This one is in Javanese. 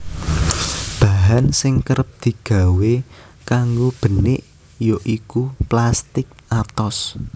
Bahan sing kerep digawé kanggo benik ya iku plastik atos